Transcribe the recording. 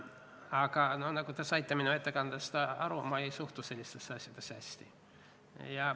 Aga nagu te saite minu ettekandest aru, ma ei suhtu sellistesse asjadesse hästi.